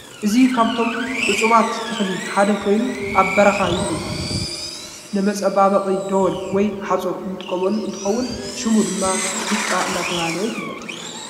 እዚ ካፍቶም ኡፂባት ተክሊ ሓደ ኮይኑ አብ በረኻ ይኩን ነመፃባበቅ ደወል ወይ ሓፀር እንጥቀመሉ እንትከውን ሽሙ ድማ ዕቃ እዳተባ ይፋለጥ ።